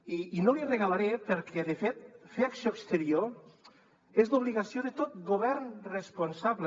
i no li regalaré perquè de fet fer acció exterior és l’obligació de tot govern responsable